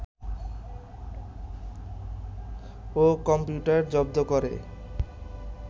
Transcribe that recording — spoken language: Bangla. ও কম্পিউটার জব্দ করে